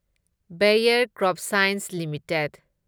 bear CropScience limited